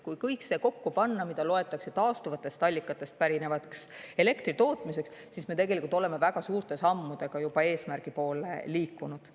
Kui kõik see kokku panna, mida loetakse taastuvatest allikatest pärinevaks elektritootmiseks, siis me tegelikult oleme väga suurte sammudega eesmärgi poole liikunud.